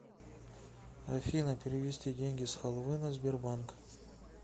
афина перевести деньги с халвы на сбербанк